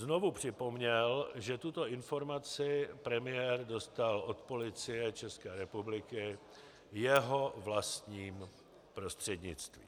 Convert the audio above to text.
Znovu připomněl, že tuto informaci premiér dostal od Policie České republiky jeho vlastním prostřednictvím.